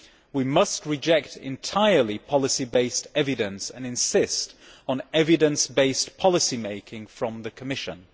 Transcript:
We must reject entirely policy based evidence and insist on evidence based policy making from the Commission.